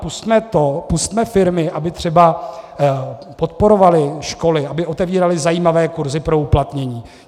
Pusťme to, pusťme firmy, aby třeba podporovaly školy, aby otevíraly zajímavé kurzy pro uplatnění.